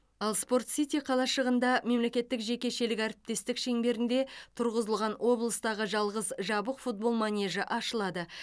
ал спорт сити қалашығында мемлекеттік жекешелік әріптестік шеңберінде тұрғызылған облыстағы жалғыз жабық футбол манежі ашылады